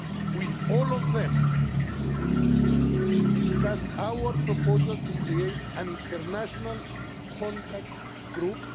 With all of them, she discussed our proposal to create an international contact group.